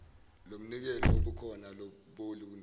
lomnikelo wobukhona boluntu